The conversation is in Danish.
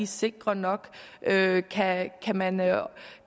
sikre nok kan man